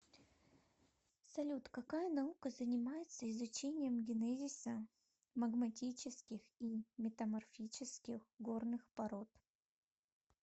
салют какая наука занимается изучением генезиса магматических и метаморфических горных пород